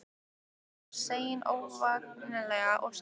Hún var í senn ógnvænleg og seiðandi.